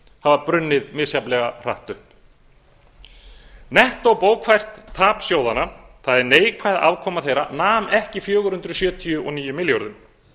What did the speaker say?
hafa brunnið misjafnlega hratt upp nettóbókfært tap sjóðanna það er neikvæð afkoma þeirra nam ekki fjögur hundruð sjötíu og níu milljörðum